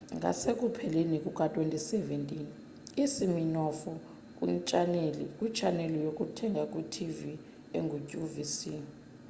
ngasekupheleni kuka-2017 usiminoff kwitshaneli yokuthenga kwitv enguqvc